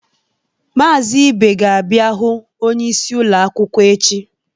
Mazị Ibe ga-abịa hụ onyeisi ụlọ akwụkwọ echi.